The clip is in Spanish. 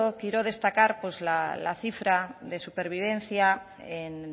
quiero destacar pues la cifra de supervivencia en